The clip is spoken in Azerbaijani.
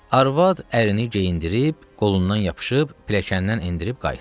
Arvad ərini geyindirib, qolundan yapışıb, pilləkəndən endirib qayıtdı.